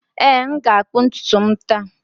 Ee, m ga-akpụ ntutu m taa.